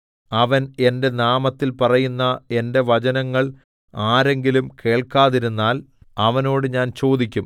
അവൻ എന്റെ നാമത്തിൽ പറയുന്ന എന്റെ വചനങ്ങൾ ആരെങ്കിലും കേൾക്കാതിരുന്നാൽ അവനോട് ഞാൻ ചോദിക്കും